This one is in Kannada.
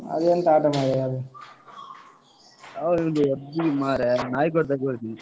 ಅದು ಎಂತ ಆಟ ಮಾರೆಯಾ ಅದು? ಅವ್ರಿಗೊಂದು ಹೊಡ್ದ್ವಿ ಮಾರೆ, ನಾಯಿಗೆ ಹೊಡ್ದಾಗೆ ಹೊಡ್ದ್ವಿ.